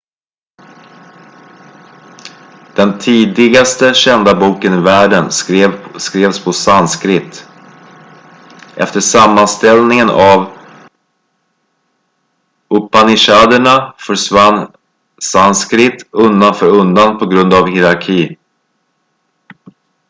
den tidigaste kända boken i världen skrevs på sanskrit efter sammanställningen av upanishaderna försvann sanskrit undan för undan på grund av hierarki